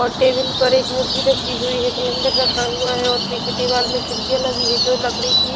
और टेबल पर एक मूर्ति रखी हुई है कैलंडर रखा हुआ है और पीछे दीवाल में खीडकीयाँ लगी हुई है जो लकड़ी की--